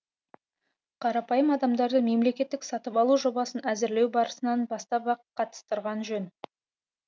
қарапайым адамдарды мемлекеттік сатып алу жобасын әзірлеу барысынан бастап ақ қатыстырған жөн